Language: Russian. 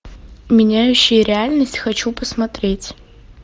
меняющие реальность хочу посмотреть